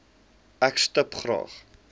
ek stip graag